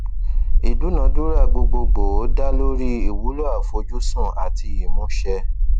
ìdúnadúrà gbogbogboo dá lórí ìwúlò àfojúsùn àti ìmúṣẹ